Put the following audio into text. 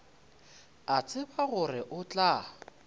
a tseba gore o tla